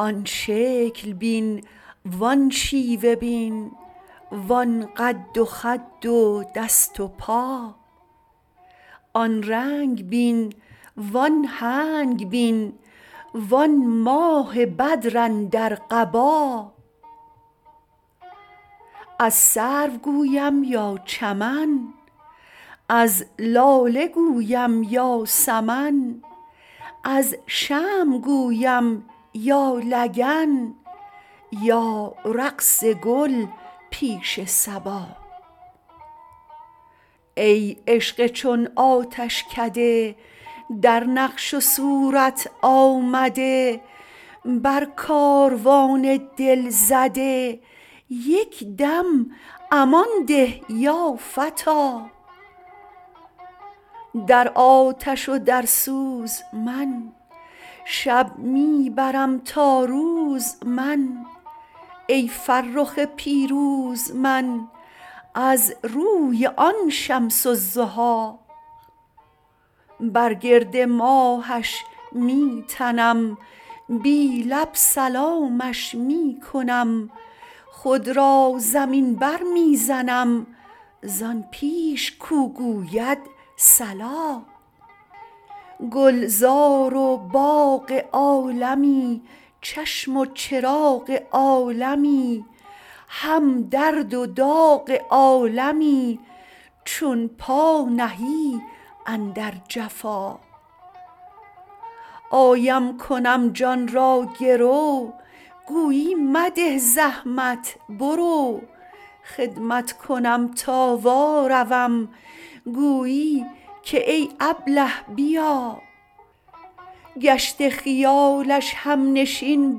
آن شکل بین وان شیوه بین وان قد و خد و دست و پا آن رنگ بین وان هنگ بین وان ماه بدر اندر قبا از سرو گویم یا چمن از لاله گویم یا سمن از شمع گویم یا لگن یا رقص گل پیش صبا ای عشق چون آتشکده در نقش و صورت آمده بر کاروان دل زده یک دم امان ده یا فتی در آتش و در سوز من شب می برم تا روز من ای فرخ پیروز من از روی آن شمس الضحی بر گرد ماهش می تنم بی لب سلامش می کنم خود را زمین برمی زنم زان پیش کو گوید صلا گلزار و باغ عالمی چشم و چراغ عالمی هم درد و داغ عالمی چون پا نهی اندر جفا آیم کنم جان را گرو گویی مده زحمت برو خدمت کنم تا واروم گویی که ای ابله بیا گشته خیال همنشین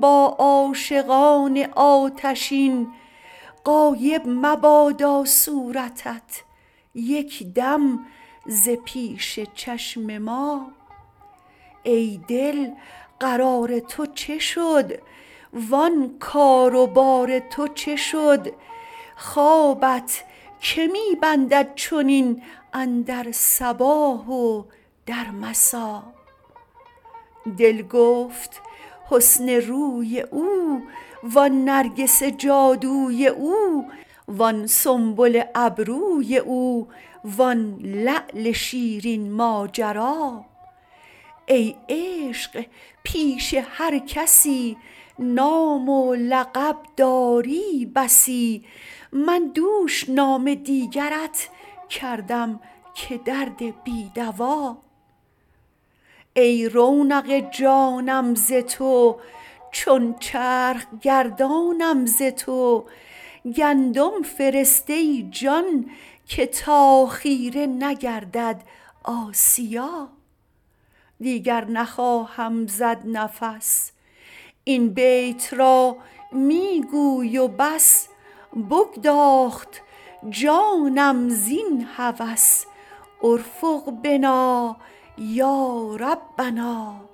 با عاشقان آتشین غایب مبادا صورتت یک دم ز پیش چشم ما ای دل قرار تو چه شد وان کار و بار تو چه شد خوابت که می بندد چنین اندر صباح و در مسا دل گفت حسن روی او وان نرگس جادوی او وان سنبل ابروی او وان لعل شیرین ماجرا ای عشق پیش هر کسی نام و لقب داری بسی من دوش نام دیگرت کردم که درد بی دوا ای رونق جانم ز تو چون چرخ گردانم ز تو گندم فرست ای جان که تا خیره نگردد آسیا دیگر نخواهم زد نفس این بیت را می گوی و بس بگداخت جانم زین هوس ارفق بنا یا ربنا